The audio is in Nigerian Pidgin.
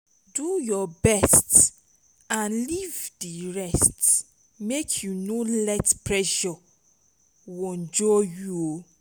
do yur best nd lif di rest mek yu no let pressure wonjur yu